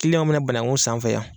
mina banaku san an fɛ yan.